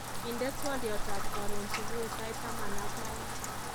Indenee twoliotab karon subui sait taman ak aeng